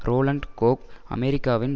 Roland Koh அமெரிக்காவின்